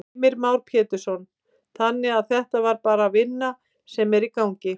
Heimir Már Pétursson: Þannig að þetta er bara vinna sem er í gangi?